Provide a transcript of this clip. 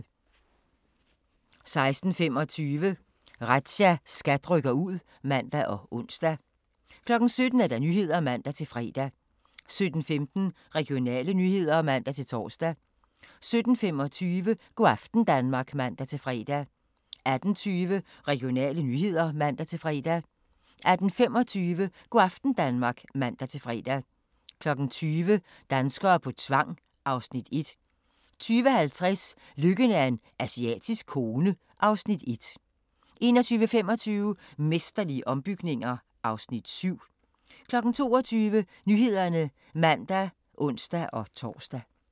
16:25: Razzia – SKAT rykker ud (man og ons) 17:00: Nyhederne (man-fre) 17:16: Regionale nyheder (man-tor) 17:25: Go' aften Danmark (man-fre) 18:20: Regionale nyheder (man-fre) 18:25: Go' aften Danmark (man-fre) 20:00: Danskere på tvang (Afs. 1) 20:50: Lykken er en asiatisk kone (Afs. 1) 21:25: Mesterlige ombygninger (Afs. 7) 22:00: Nyhederne (man og ons-tor)